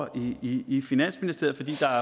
i i finansministeriet fordi der